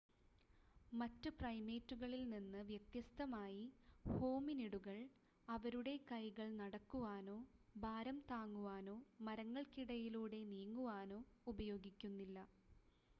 മറ്റ് പ്രൈമേറ്റുകളിൽ നിന്ന് വ്യത്യസ്തമായി ഹോമിനിഡുകൾ അവരുടെ കൈകൾ നടക്കുവാനോ ഭാരം താങ്ങുവാനോ മരങ്ങൾക്കിടയിലൂടെ നീങ്ങുവാനോ ഉപയോഗിക്കുന്നില്ല